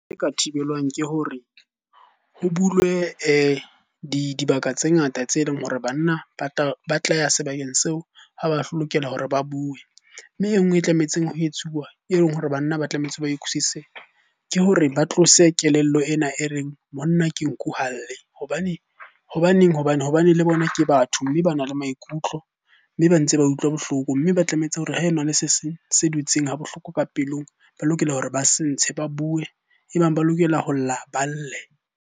E ka thibelwang ke hore ho bulwe dibaka tse ngata tse leng hore banna ba tla ya sebakeng seo ha ba lokela hore ba bue. Mme enngwe e tlametseng ho etsuwa e leng hore banna ba tlamehetse ba utlwisise, ke hore ba tlose kelello ena e reng, monna ke nku ha lle. Hobaneng? Hobane le bona ke batho mme bana le maikutlo, mme ba ntse ba utlwa bohloko. Mme ba tlametse hore ha ena le se seng se dutseng ha bohloko ka pelong, ba lokela hore ba se ntshe ba bue. E bang ba lokela ho lla, ba lle.